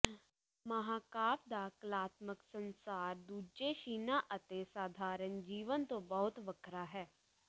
ਮਹਾਂਕਾਵਿ ਦਾ ਕਲਾਤਮਕ ਸੰਸਾਰ ਦੂਜੇ ਸ਼ਿਨਾਂ ਅਤੇ ਸਾਧਾਰਣ ਜੀਵਨ ਤੋਂ ਬਹੁਤ ਵੱਖਰਾ ਹੈ